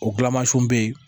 O gilamansiw bɛ yen